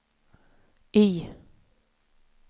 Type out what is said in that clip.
Y